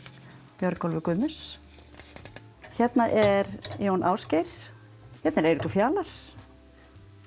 Björgólfur Guðmunds hérna er Jón Ásgeir hérna er Eiríkur Fjalar